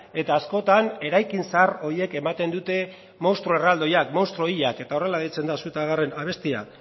eta askotan eraikin zahar horiek ematen dute munstro erraldoiak munstro hilak eta horrela deitzen da su ta garren abestia